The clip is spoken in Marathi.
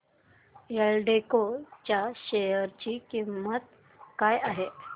एल्डेको च्या शेअर ची किंमत काय आहे